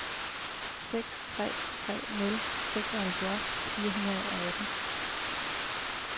seks tre tre nul seksoghalvfjerds fire hundrede og atten